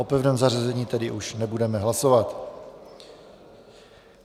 O pevném zařazení tedy už nebudeme hlasovat.